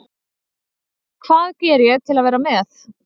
Hvað geri ég til að vera með?